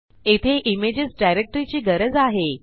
येथे images directory ची गरज आहे